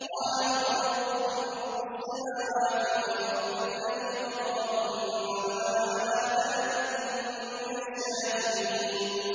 قَالَ بَل رَّبُّكُمْ رَبُّ السَّمَاوَاتِ وَالْأَرْضِ الَّذِي فَطَرَهُنَّ وَأَنَا عَلَىٰ ذَٰلِكُم مِّنَ الشَّاهِدِينَ